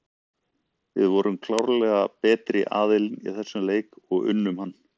Finnst þér hún hafa taka miklum framförum síðan þú þjálfaðir liðið síðast?